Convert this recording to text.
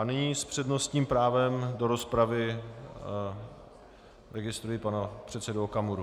A nyní s přednostním právem do rozpravy registruji pana předsedu Okamuru.